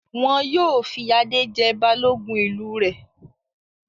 Wọn yóò fi Adé jẹ Balógun ìlú rẹ̀.